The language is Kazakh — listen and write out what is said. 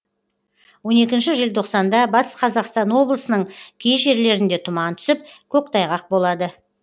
он екінші желтоқсанда батыс қазақстан облысының кей жерлерінде тұман түсіп көктайғақ болады